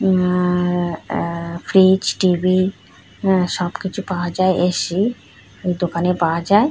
উমাআআআ fridge TV সবকিছু পাওয়া যায় এসি দোকানে পাওয়া যায় ।